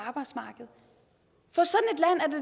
arbejdsmarkedet